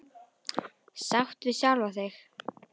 Sátt við sjálfa sig.